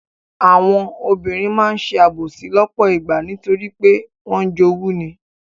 Àwọn obìnrin máa ń ṣe àbòsí lọ́pọ̀ ìgbà nítorí pé wọ́n ń jowú ni.